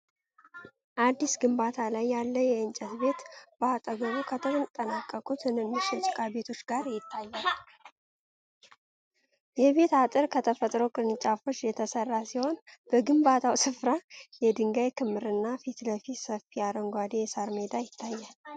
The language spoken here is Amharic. አዲስ ግንባታ ላይ ያለ የእንጨት ቤት በአጠገቡ ከተጠናቀቁ ትንንሽ የጭቃ ቤቶች ጋር ይታያል። የቤቱ አጥር ከተፈጥሮ ቅርንጫፎች የተሠራ ሲሆን፤ በግንባታው ስፍራ የድንጋይ ክምርና ፊት ለፊት ሰፊ አረንጓዴ የሳር ሜዳ ይታያል።